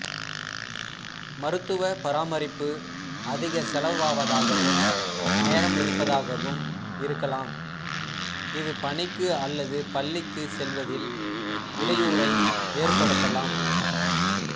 மருத்துவ பராமரிப்பு அதிக செலவாவதாகவும் நேரம் எடுப்பதாகவும் இருக்கலாம் இது பணிக்கு அல்லது பள்ளிக்கு செல்வதில் இடையூறை ஏற்படுத்தலாம்